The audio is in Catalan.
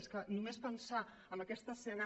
és que només pensar en aquesta escena